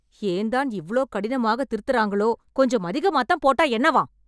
ஏன் தான் இவ்ளோ கடினமா திருத்தறாங்களோ, கொஞ்சம் அதிகமாத்தான் போட்டா என்னவாம்